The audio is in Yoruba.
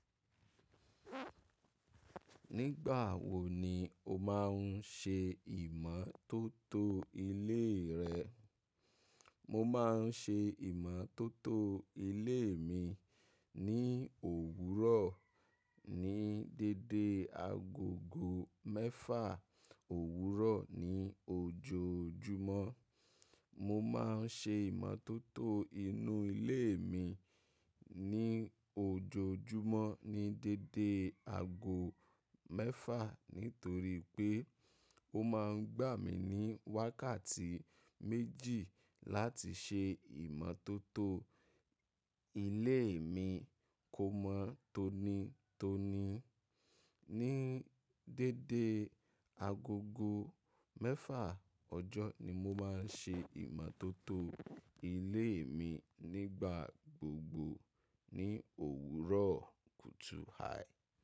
Nígbà wo ni o má ń ṣe ìmọ́tótó ilé rẹ? Mo má ń ṣe ìmọ́tótó ilé mi ní òwúrọ̀ ní dédé agogo mẹ́fà òwúrọ̀ ní ojoojúmọ́. Mo ma ń ṣe ìmọ́tótó inú ilé mi ní ojoojúmọ́ ní dédé ago mẹ́fà nítorí pé ó ma gbà mí ní wákàtí méjì láti ṣe ìmọ́tótó ilé mi kó mọ́ tónítóní. Ní dédé agogo mẹ́fà ọjọ́ ni mo má ń ṣe ìmọ́tótó ilé mi nígbà gbogbo ní òwúrọ̀ kùtù hài.